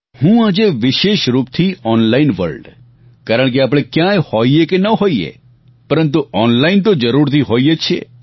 હું આજે વિશેષ રૂપથી ઓનલાઈન વર્લ્ડ કારણ કે આપણે ક્યાંય હોઈએ કે ન હોઈએ પરંતુ ઓનલાઈન તો જરૂરથી હોઈએ જ છીએ